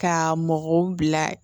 Ka mɔgɔw bila